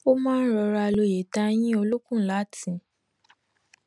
ó máa n rọra lo ìtayín olókùn láti